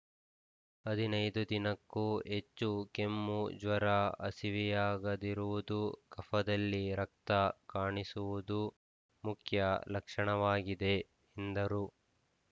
ಹದಿನೈದು ದಿನಕ್ಕೂ ಹೆಚ್ಚು ಕೆಮ್ಮ ಜ್ವರ ಹಸಿವಿಯಾಗದಿರುವುದು ಕಫದಲ್ಲಿ ರಕ್ತ ಕಾಣಿಸುವುದು ಮುಖ್ಯ ಲಕ್ಷಣವಾಗಿದೆ ಎಂದರು